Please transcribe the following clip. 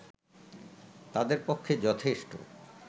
তাদের পক্ষে যথেষ্ট